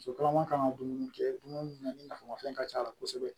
Musokɔnɔma kan ka dumuni kɛ dumuni na ni nafama fɛn ka c'a la kosɛbɛ